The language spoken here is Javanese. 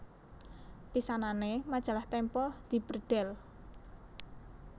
Pisanané Majalah Tempo dibredhel